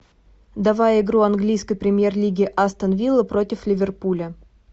давай игру английской премьер лиги астон вилла против ливерпуля